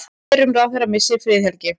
Fyrrum ráðherra missir friðhelgi